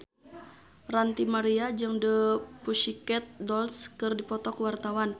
Ranty Maria jeung The Pussycat Dolls keur dipoto ku wartawan